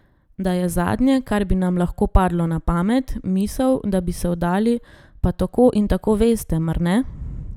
Da je zadnje, kar bi nam lahko padlo na pamet, misel, da bi se vdali, pa tako in tako veste, mar ne?